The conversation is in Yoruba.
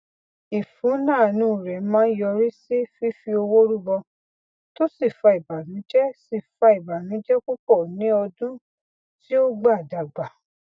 ìfúnáánú rẹ máa ń yọrí sí fífi owó rúbọ tó sì fa ìbànújẹ sì fa ìbànújẹ púpọ ní ọdún tí ó gbà dàgbà